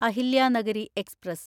Ahilyanagari express